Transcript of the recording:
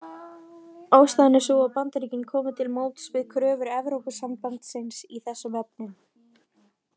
Ástæðan er sú að Bandaríkin komu til móts við kröfur Evrópusambandsins í þessum efnum.